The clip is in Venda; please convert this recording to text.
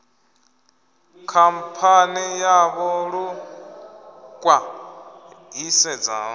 khamphani yavho lu khwa ṱhisedzaho